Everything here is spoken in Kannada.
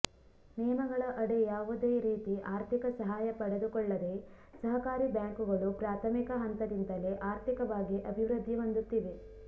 ನಿಯಮಗಳ ಅಡಿ ಯಾವುದೇ ರೀತಿ ಆರ್ಥಿಕ ಸಹಾಯ ಪಡೆದುಕೊಳ್ಳದೆ ಸಹಕಾರಿ ಬ್ಯಾಂಕುಗಳು ಪ್ರಾಥಮಿಕ ಹಂತದಿಂದಲೇ ಆರ್ಥಿಕವಾಗಿ ಅಭಿವೃದ್ಧಿ ಹೊಂದುತ್ತಿವೆ